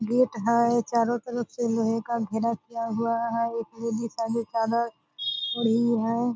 Gate है। चारो तरफ से लोहे का घेरा किया हुआ है। एक ओढ़ी है।